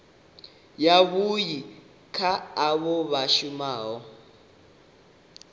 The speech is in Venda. yavhui kha avho vha shumaho